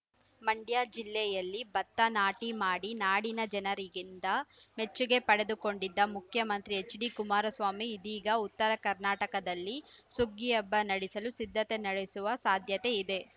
ಮಂಡ್ಯ ಜಿಲ್ಲೆಯಲ್ಲಿ ಭತ್ತ ನಾಟಿ ಮಾಡಿ ನಾಡಿನ ಜನರಿಗಿಂದ ಮೆಚ್ಚುಗೆ ಪಡೆದುಕೊಂಡಿದ್ದ ಮುಖ್ಯಮಂತ್ರಿ ಎಚ್‌ಡಿಕುಮಾರಸ್ವಾಮಿ ಇದೀಗ ಉತ್ತರ ಕರ್ನಾಟಕದಲ್ಲಿ ಸುಗ್ಗಿ ಹಬ್ಬ ನಡೆಸಲು ಸಿದ್ಧತೆ ನಡೆಸುವ ಸಾಧ್ಯತೆ ಇದೆ